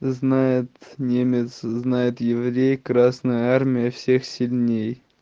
знает немец знает еврей красная армия всех сильней